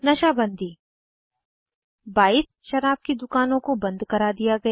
नशा बन्दी 22 शराब की दुकानों को बंद करा दिया गया